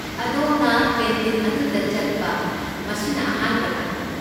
ꯑꯗꯣꯝꯅ ꯀꯦꯟꯇꯤꯟ ꯑꯗꯨꯗ ꯆꯠꯄ ꯃꯁꯤꯅ ꯑꯍꯥꯟꯕ꯭ꯔꯥ?